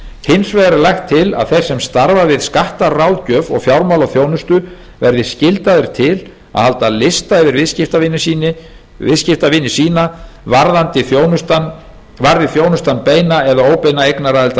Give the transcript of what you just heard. hins vegar er lagt til að þeir sem starfa við skattaráðgjöf og fjármálaþjónustu verði skyldaðir til að halda lista yfir viðskiptavini sína varði þjónustan beina eða óbeina eignaraðild að